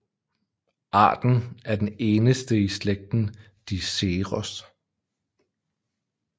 Arten er den eneste i slægten Diceros